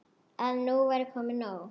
Að nú væri komið nóg.